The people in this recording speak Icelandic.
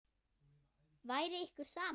Væri ykkur sama?